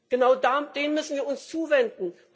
Genau denen müssen wir uns zuwenden.